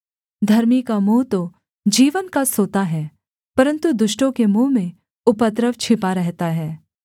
धर्मी का मुँह तो जीवन का सोता है परन्तु दुष्टों के मुँह में उपद्रव छिपा रहता है